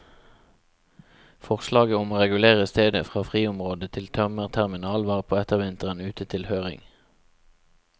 Forslaget om å regulere stedet fra friområde til tømmerterminal var på ettervinteren ute til høring.